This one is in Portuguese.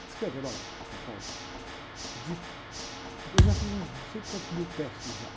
ela descreveu, olha, ela falou, de, eu já fiz uns não sei quantos mil testes já.